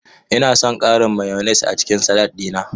Ina son ƙarin mayones a cikin salatin na.